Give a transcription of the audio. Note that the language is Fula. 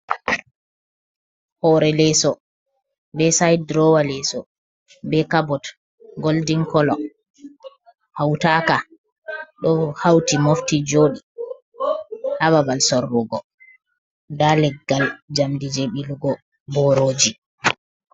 Hoore leeso, be said durowa leeso, be cabot goldin kolo hautaka, ɗo hauti mofti jooɗi ha babal sorrugo nda leggal njamdi jei ɓilugo boorooji.